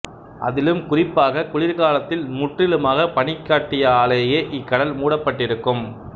அதிலும் குறிப்பாக குளிர் காலத்தில் முற்றிலுமாக பனிக்கட்டியாலேயே இக்கடல் மூடப்பட்டிருக்கும்